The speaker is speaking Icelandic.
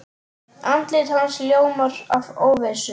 Andlit hans ljómar af óvissu.